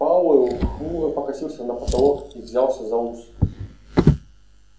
пауэлл хмуро покосился на потолок и взялся за ус